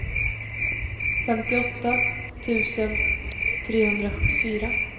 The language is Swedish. femtioåtta tusen trehundrasjuttiofyra